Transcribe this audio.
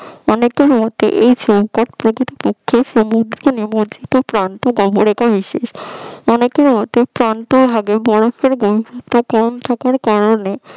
অনেকের মতে অনেকের মতে প্রান্ত ভাগে বরফের ঘনত্ব কম থাকার কারণে